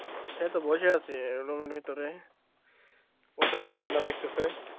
এই তো বসে আছি room এর ভিতরে, প্রচন্ড ঠান্ডা লাগতাছে,